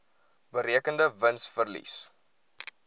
berekende wins verlies